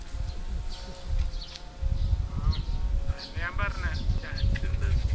ആഹ് അത് തന്നെയാ ഞാൻ പറഞ്ഞേ chance ഉണ്ട്